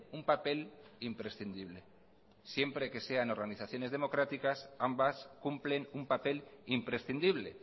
un papel imprescindible siempre que sean organizaciones democráticas ambas cumplen un papel imprescindible